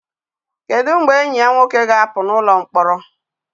Kedu mgbe enyi ya nwoke ga-apụ n'ụlọ mkpọrọ?